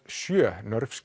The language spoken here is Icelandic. sjö